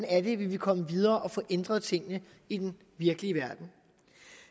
er vi vil komme videre med at få ændret tingene i den virkelige verden